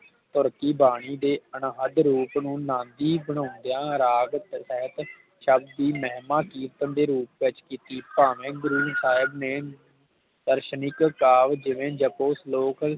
ਗੁਰ ਦੀ ਬਾਣੀ ਦੇ ਅਨਹਦ ਰੂਪ ਨੂੰ ਰਾਗੀ ਬਾਂਉਂਦਿਆਂ ਰਾਗ ਸਹਿਤ ਸ਼ਬਦ ਦੀ ਮਹਿਮਾ ਕੀਰਤਨ ਦੇ ਰੂਪ ਵਿਚ ਕੀਤੀ ਭਾਵੇ ਗੁਰੂ ਸਾਹਿਬ ਨੇ ਦਰਸ਼ਨਿਕ ਕਾਵ ਜਿਵੇ ਜਪੋ ਸਲੋਕ